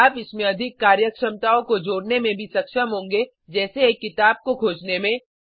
आप इसमें अधिक कार्यक्षमताओं को जोड़ने में भी सक्षम होंगे जैसे एक किताब को खोजने में